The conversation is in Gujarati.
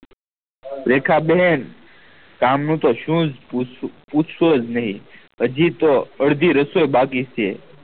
રેખા બેન કામ નું તો શું પુચ્તોસ નહી અજી તો અર્ધી રસોઈ બાકી છે